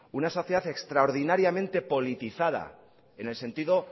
una sociedad extraordinariamente politizada en el sentido